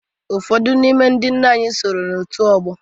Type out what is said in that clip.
Ụfọdụ n'ime ndị nna anyị soro n'òtù ọgbọ.